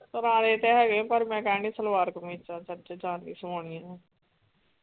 ਪੁਰਾਣੇ ਤੇ ਹੈਗੇ ਪਰ ਮੈਂ ਕਹਿਣ ਡਈ ਆ ਸਲਵਾਰ ਕਮੀਜ਼ ਚੱਲ ਓਥੇ ਜਾਣ ਲਈ ਸਵਾਉਣੀ ਆ।